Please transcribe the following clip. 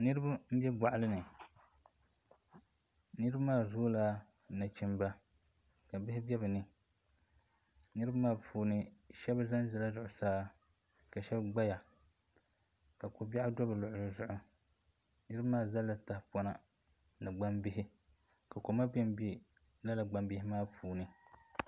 Niraba n bɛ boɣali ni niraba maa zaŋla nachimba ka bi gbiri bini niraba maa puuni shab zanzala zuɣusaa ka shab gbaya ka ko biɛɣu do bi luɣuli zuɣu niraba maa gbubila tahapona ni gbambihi ka koma bɛnbɛ lala gbambihi maa puuni